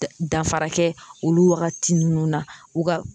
Danfara kɛ olu wagati ninnu na u ka